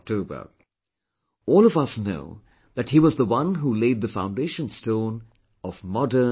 All of us know that he was the one who laid the foundation stone of modern, unified India